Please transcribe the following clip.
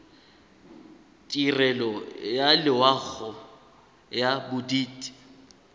tirelo ya loago ya bodit